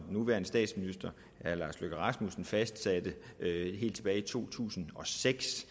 nuværende statsminister fastsatte helt tilbage i to tusind og seks